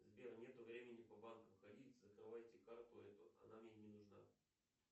сбер нету времени по банкам ходить закрывайте карту эту она мне не нужна